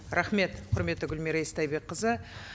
рахмет құрметті гүлмира истайбекқызы